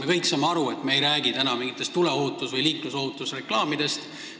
Me kõik saame aru, et me ei räägi täna mingitest tuleohutus- või liiklusohutusreklaamidest.